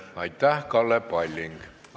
Aitäh, Kalle Palling!